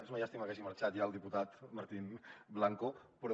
és una llàstima que hagi marxat ja el diputat martín blanco però